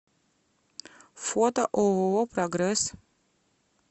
фото ооо прогресс